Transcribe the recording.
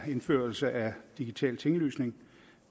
indførelse af digital tinglysning